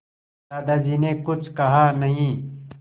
दादाजी ने कुछ कहा नहीं